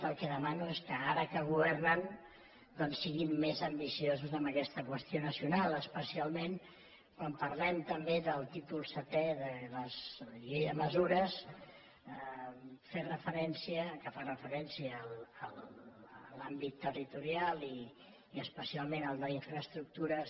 el que demano és que ara que governen doncs siguin més ambiciosos amb aquesta qüestió nacional especialment quan parlem també del títol setè de la llei de mesures que fa referència a l’àmbit territorial i especialment al d’infraestructures